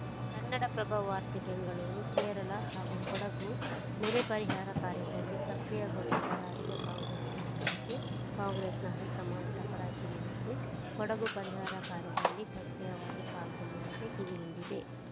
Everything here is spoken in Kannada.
ಕನ್ನಡಪ್ರಭ ವಾರ್ತೆ ಬೆಂಗಳೂರು ಕೇರಳ ಹಾಗೂ ಕೊಡಗು ನೆರೆ ಪರಿಹಾರ ಕಾರ್ಯದಲ್ಲಿ ಸಕ್ರಿಯಗೊಳ್ಳದ ರಾಜ್ಯ ಕಾಂಗ್ರೆಸ್‌ ನಾಯಕರಿಗೆ ಕಾಂಗ್ರೆಸ್‌ನ ಹೈಕಮಾಂಡ್‌ ತಪಾರಕಿ ನೀಡಿದ್ದು ಕೊಡಗು ಪರಿಹಾರ ಕಾರ್ಯದಲ್ಲಿ ಸಕ್ರಿಯವಾಗಿ ತೊಡಗಿಕೊಳ್ಳುವಂತೆ ಕಿವಿಹಿಂಡಿದೆ